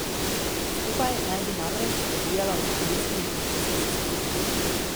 Skupaj naj bi namreč razvijala avtomobilski informacijski sistem.